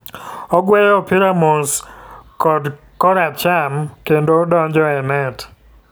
Ogweyo opira mos kocho kora cham kendo donjo e net.